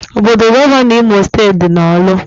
Obodo Gọvanọ Imo steeti dị na orlu